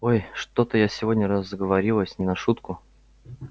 ой что-то я сегодня разговорилась не на шутку